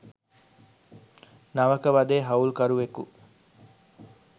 නවක වදේ හවුල්කරුවෙකු